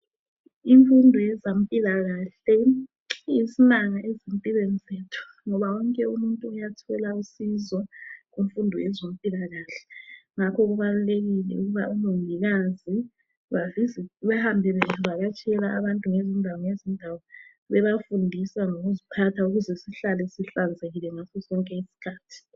Imfundo yezempilakahle iyisimanga ezimpilweni zethu ngoba wonke imuntu uyathola usizo kumfundo yezempilakahle. Ngakho kubalulekile ukuba omongokazi bahambe bevakatshela abantu ngezindawo ngezindawo, babafundisa ngokuziphatha ukuze sihlale sihlanzekile ngaso sonke izikhathi.